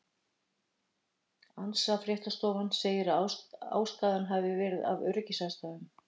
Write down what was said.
ANSA fréttastofan segir að ástæðan hafi verið af öryggisástæðum.